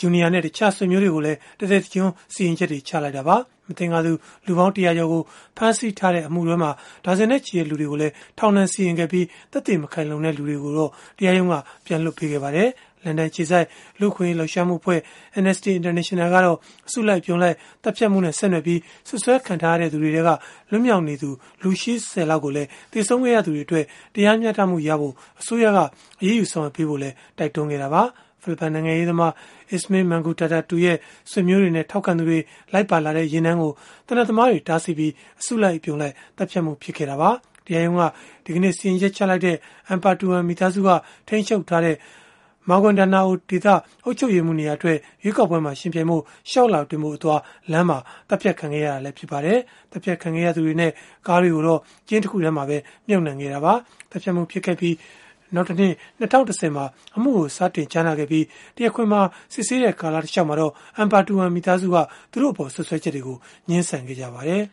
Jr. နဲ့ တခြားဆွေမျိုးတွေကိုလည်း တသက်တကျွန်း စီရင်ချက်ချလိုက်တာပါ။ မသင်္ကာသူ လူပေါင်း ၁၀၀ ကျော်ကို ဖမ်းဆီးထားတဲ့ အမှုမှာ ဒါဇင်နဲ့ချီတဲ့ လူတွေကိုလည်း ထောင်ဒဏ်စီရင်ခဲ့ပြီး သက်သေမခိုင်လုံတဲ့ သူတွေကိုတော့ တရားရုံးက ပြန်လွှတ်ပေးခဲ့ပါတယ်။ လန်ဒန်အခြေစိုက် လူ့အခွင့်အရေး လှုပ်ရှားမှုအဖွဲ့ Amnesty International ကတော့ အစုလိုက်အပြုံလိုက် သတ်ဖြတ်မှုနဲ့ ဆက်နွယ်ပြီး စွပ်စွဲခံထားရတဲ့ သူတွေထဲက လွတ်မြောက်နေသူ လူ ၈၀ လောက်ကိုလည်း သေဆုံးခဲ့ရသူတွေအတွက် တရားမျှတမှုရအောင် အစိုးရက အရေးယူ ဆောင်ရွက်ဖို့လည်း တိုက်တွန်းခဲ့တာပါ။ ဖိလစ်ပိုင် နိုင်ငံရေးသမား Esmael Mangudadatu ရဲ့ ဆွေမျိုးတွေနဲ့ ထောက်ခံသူတွေ လိုက်ပါလာတဲ့ ယာဉ်တန်းကို သေနတ်သမားတွေ တားဆီးပြီး အစုလိုက် အပြုံလိုက် သတ်ဖြတ်မှု ဖြစ်ခဲ့တာပါ။ တရားရုံးက ဒီကနေ့ စီရင်ချက်ချလိုက်တဲ့ Ampatuan မိသားစုက ထိန်းချုပ်ထားတဲ့ Maguindanao ပြည်နယ် အုပ်ချုပ်ရေးမှူးနေရာအတွက် ရွေးကောက်ပွဲမှာ ယှဉ်ပြိုင်ဖို့ လျှောက်လွှာတင်ဖို့အသွား လမ်းမှာ သတ်ဖြတ်ခံခဲ့ရတာလည်း ဖြစ်ပါတယ်။ သတ်ဖြတ်ခံခဲ့ရသူတွေနဲ့ ကားတွေကိုတော့ ကျင်းတခုထဲမှာ မြှုပ်နှံခဲ့တာပါ။ သတ်ဖြတ်မှု ဖြစ်ပွားခဲ့ပြီး နောက်တနှစ် ၂၀၁၀ မှာ အမှုကို စတင်ကြားနာခဲ့ပြီး တရားခွင်မှာ စစ်ဆေးတဲ့ ကာလတလျှောက် Ampatuan မိသားစုကတော့ သူတို့အပေါ် စွပ်စွဲချက်တွေကို ငြင်းဆန်ခဲ့ကြပါတယ်